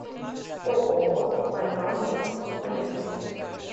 ооо байкал мед поехали